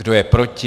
Kdo je proti?